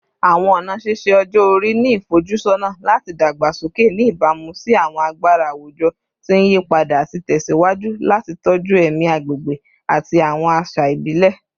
Awọn ọna ṣiṣe-ọjọ-ori ni ifojusọna lati dagbasoke, ni ibamu si awọn agbara awujọ ti n yipada, ati tẹsiwaju lati tọju ẹmi agbegbe ati awọn aṣa ibile